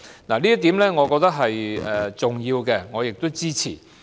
我認為這點是重要的，並會予以支持。